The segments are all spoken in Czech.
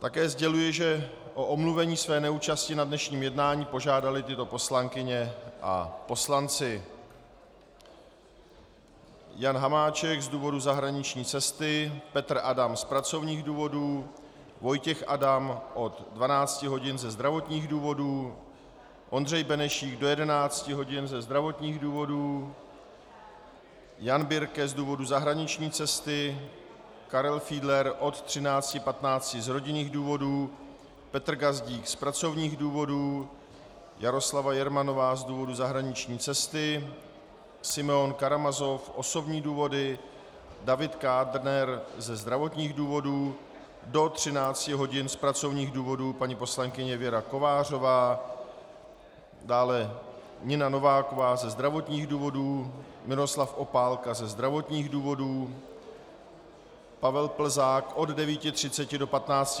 Také sděluji, že o omluvení své neúčasti na dnešním jednání požádali tyto poslankyně a poslanci: Jan Hamáček z důvodu zahraniční cesty, Petr Adam z pracovních důvodů, Vojtěch Adam od 12 hodin ze zdravotních důvodů, Ondřej Benešík do 11 hodin ze zdravotních důvodů, Jan Birke z důvodu zahraniční cesty, Karel Fiedler od 13.15 z rodinných důvodů, Petr Gazdík z pracovních důvodů, Jaroslava Jermanová z důvodu zahraniční cesty, Simeon Karamazov osobní důvody, David Kádner ze zdravotních důvodů, do 13 hodin z pracovních důvodů paní poslankyně Věra Kovářová, dále Nina Nováková ze zdravotních důvodů, Miroslav Opálka ze zdravotních důvodů, Pavel Plzák od 9.30 do 15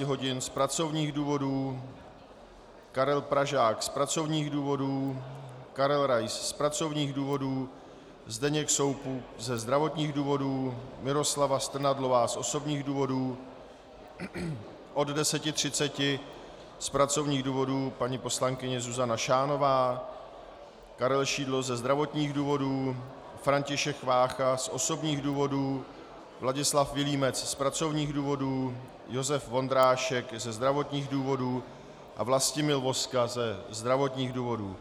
hodin z pracovních důvodů, Karel Pražák z pracovních důvodů, Karel Rais z pracovních důvodů, Zdeněk Soukup ze zdravotních důvodů, Miroslava Strnadlová z osobních důvodů, od 10.30 z pracovních důvodů paní poslankyně Zuzana Šánová, Karel Šidlo ze zdravotních důvodů, František Vácha z osobních důvodů, Vladislav Vilímec z pracovních důvodů, Josef Vondrášek ze zdravotních důvodů a Vlastimil Vozka ze zdravotních důvodů.